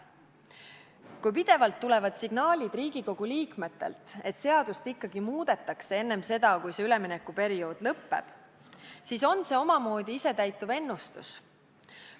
Kui pidevalt tulevad Riigikogu liikmetelt signaalid, et seadust ikkagi muudetakse enne seda, kui üleminekuperiood lõppeb, siis on see omamoodi isetäituv ennustus.